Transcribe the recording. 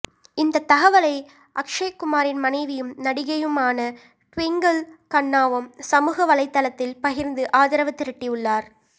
இந்த தகவலை அக்ஷய்குமாரின் மனைவியும் நடிகையுமான டுவிங்கிள் கண்ணாவும் சமூக வலைத்தளத்தில் பகிர்ந்து ஆதரவு திரட்டி உள்ளார்